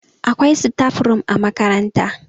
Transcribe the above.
akwai. staf room a makaranta